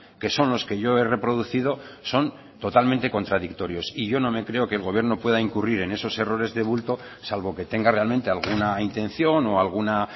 que son los que yo he reproducido son totalmente contradictorios y yo no me creo que el gobierno pueda incurrir en esos errores de bulto salvo que tenga realmente alguna intención o alguna